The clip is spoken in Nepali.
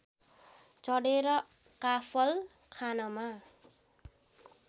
चढेर काफल खानमा